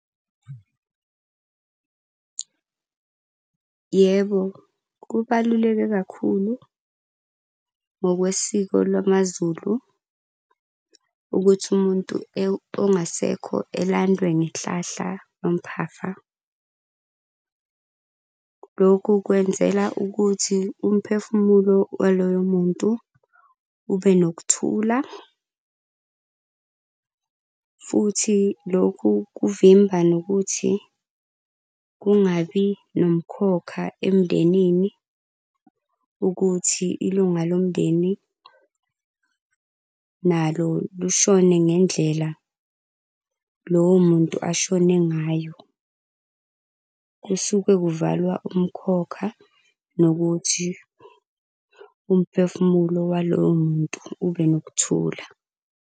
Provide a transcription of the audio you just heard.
Yebo, kubaluleke kakhulu ngokwesiko lwamaZulu ukuthi umuntu ongasekho elandwe ngehlahla lomphafa. Lokhu kwenzela ukuthi umphefumulo waloyo muntu ube nokuthula. Futhi lokhu kuvimba nokuthi kungabi nomkhokha emndenini ukuthi ilunga lomndeni nalo lishone ngendlela lowo muntu ashone ngayo. Kusuke kuvalwa umkhokha nokuthi umphefumulo waloyo muntu ube nokuthula.